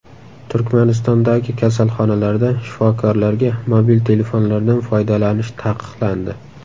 Turkmanistondagi kasalxonalarda shifokorlarga mobil telefonlardan foydalanish taqiqlandi.